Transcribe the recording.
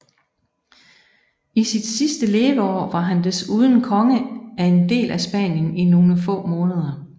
I sit sidste leveår var han desuden konge af en del af Spanien i nogle få måneder